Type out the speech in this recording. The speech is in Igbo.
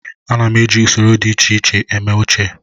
Ana m eji usoro dị iche iche eme oche